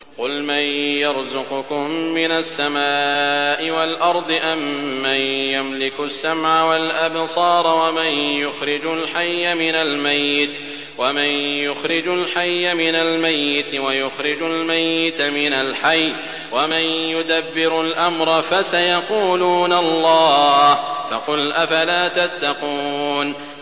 قُلْ مَن يَرْزُقُكُم مِّنَ السَّمَاءِ وَالْأَرْضِ أَمَّن يَمْلِكُ السَّمْعَ وَالْأَبْصَارَ وَمَن يُخْرِجُ الْحَيَّ مِنَ الْمَيِّتِ وَيُخْرِجُ الْمَيِّتَ مِنَ الْحَيِّ وَمَن يُدَبِّرُ الْأَمْرَ ۚ فَسَيَقُولُونَ اللَّهُ ۚ فَقُلْ أَفَلَا تَتَّقُونَ